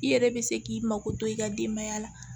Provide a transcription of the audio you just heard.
I yɛrɛ be se k'i mako to i ka denbaya la